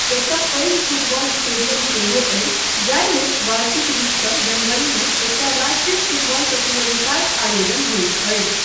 एकटा पैघ football stadium सेहो अछि जाहिमे वार्षिक रूपसँ जनवरीमे एकटा राष्ट्रीय फुटबॉल प्रतियोगिताक आयोजन होइत अछि।